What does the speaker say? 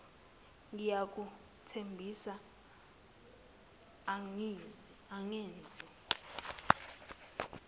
uncle ngiyakuthembisa angenzi